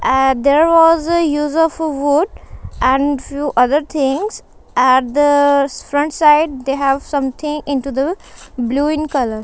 eh there was a use of a wood and few other things at the front side they have something into the blue in colour.